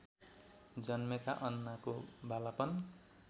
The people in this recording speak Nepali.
जन्मेका अन्नाको बालापन